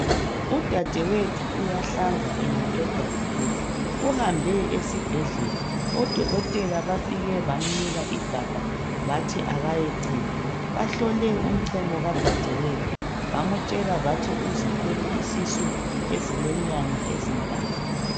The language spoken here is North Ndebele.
Udadewethu uyahlanza engaqeda ukudla uhambe esibhedlela odokotela bafike bannika igabha bathi kayechema bahlole umchemo kadadewethu bamtshela bathi uzithwele isisu esilenyanga ezintathu